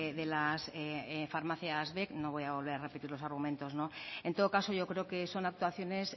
de las farmacias vec no voy a volver a repetir los argumentos en todo caso yo creo que son actuaciones